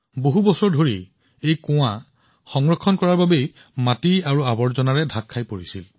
বহু বছৰৰ অৱহেলাৰ বাবে এই কুঁৱাটো মাটি আৰু আৱৰ্জনাৰে আবৃত হৈ পৰিছিল